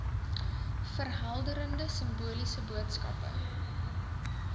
verhelderende simboliese boodskappe